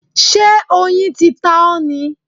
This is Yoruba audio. Ṣé oyin ti ta ọ́ ni?